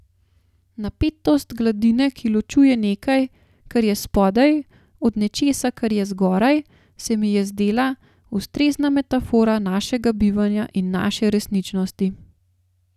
Napetost gladine, ki ločuje nekaj, kar je spodaj, od nečesa, kar je zgoraj, se mi je zdela ustrezna metafora našega bivanja in naše resničnosti.